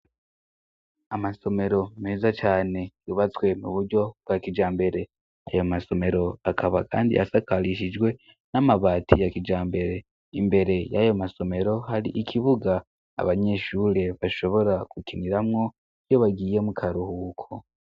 Amasomero meza cane yubatswe mu buryo bwa kija mbere yayo masomero akaba, kandi asakarishijwe n'amabati ya kija mbere imbere y'ayo masomero hari ikibuga abanyeshure bashobora gukiniramwo iyo bagiye mu karuhuko.